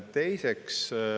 Teiseks.